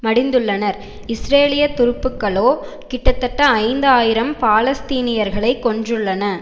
மடிந்துள்ளனர் இஸ்ரேலிய துருப்புக்களோ கிட்டத்தட்ட ஐந்து ஆயிரம் பாலஸ்தீனியர்களை கொன்றுள்ளன